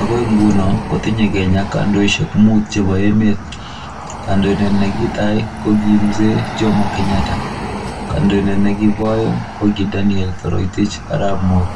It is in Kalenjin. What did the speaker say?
Agoi nguno kotinye kenya kandoishek mut chebo emet kandoindet nekitai koki mzee jomo kenyatta kandoindet nekibo aeng koki Daniel Toroitich arap moi